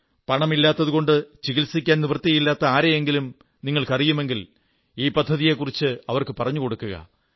പണമില്ലാത്തതുകൊണ്ട് ചികിത്സിക്കാൻ നിവൃത്തിയില്ലാത്ത ആരെയെങ്കിലും നിങ്ങളറിയുമെങ്കിൽ ഈ പദ്ധതിയെക്കുറിച്ച് അവർക്ക് പറഞ്ഞുകൊടുക്കുക